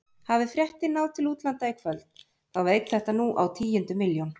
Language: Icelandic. Hafi fréttin náð til útlanda í kvöld þá veit þetta nú á tíundu milljón.